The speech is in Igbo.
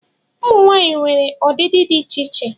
Ụmụ nwanyị nwere ọdịdị dị iche iche.